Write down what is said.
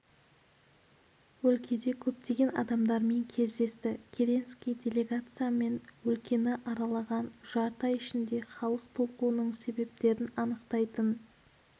өлкеде көптеген адамдармен кездесті керенский делегациямен өлкені аралаған жарты ай ішінде халық толқуының себептерін анықтайтын